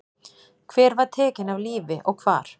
Hver var tekin af lífi og hvar?